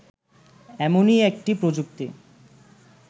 এমনই একটি প্রযুক্তি